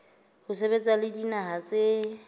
ho sebetsa le dinaha tse